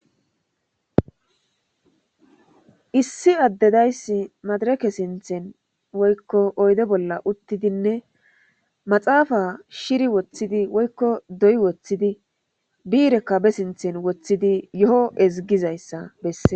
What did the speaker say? Issi addedayssi madareke sinthen woykko oyde bolla uttidinne maxaafa shiri woththidi woykko doy woththidi biirekka be sinthen woththidi yo7o ezigizayssa besses.